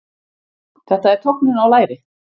Þetta er tognun á læri.